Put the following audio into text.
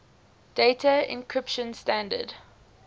data encryption standard